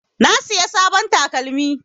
Na siya sabon takalmi.